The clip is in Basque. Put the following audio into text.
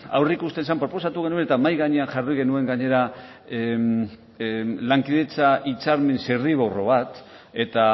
aurreikusten zen proposatu genuen eta mahai gainean jarri genuen gainera lankidetza hitzarmen zirriborro bat eta